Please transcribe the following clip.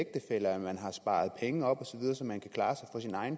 eller har sparet penge op så man kan klare sig